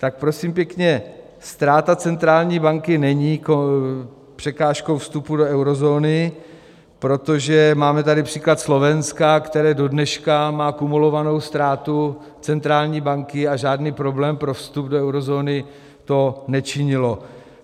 Tak prosím pěkně, ztráta centrální banky není překážkou vstupu do eurozóny, protože máme tady příklad Slovenska, které dodneška má kumulovanou ztrátu centrální banky, a žádný problém pro vstup do eurozóny to nečinilo.